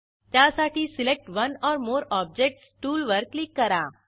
त्यासाठी select one or more objects टूलवर click करा